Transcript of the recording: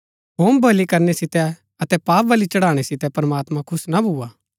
होमबलि करनै सितै अतै पापबलि चढ़ाणै सितै प्रमात्मां खुश ना भुआ